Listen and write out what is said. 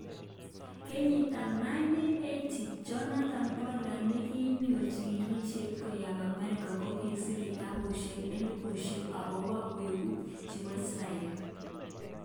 Kenyitab 1980, Jonathan Pollard nekiyoe chikilishet koyob America kokisir kitabushet elibushek okobo wu'ngutik chebo Israel.